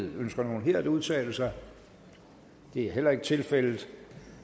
ønsker nogen her at udtale sig det er ikke tilfældet